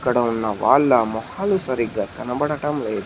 ఇక్కడ ఉన్న వాళ్ళ మొహాలు సరిగ్గా కనబడటం లేదు